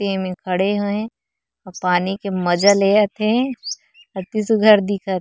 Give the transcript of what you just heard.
ते में खड़े हे अउ पानी के मज़ा लेयत हे अति सुघर दिखत हे।